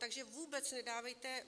Takže vůbec nedávejte...